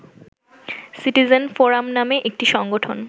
citizen forum নামে একটি সংগঠন